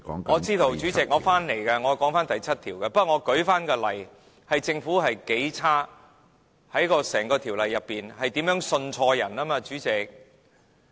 我知道，主席，我會說回第7條，不過我只是舉例，指出政府有多不堪。在整項《條例草案》中，如何信錯人，主席？